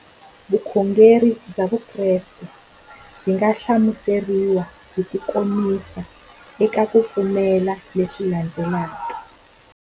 Vukhongeri bya Vukreste byi nga hlamuseriwa hi kukomisa eka ku pfumela leswi landzelaka.